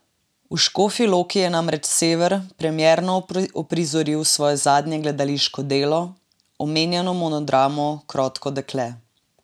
V Škofji Loki je namreč Sever premierno uprizoril svoje zadnje gledališko delo, omenjeno monodramo Krotko dekle.